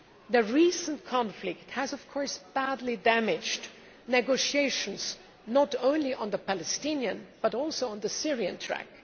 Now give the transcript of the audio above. The recent conflict has badly damaged negotiations not only on the Palestinian, but also on the Syrian, track.